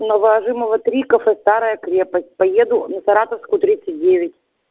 новоажимова три кафе старая крепость поеду на саратовскую тридцать девять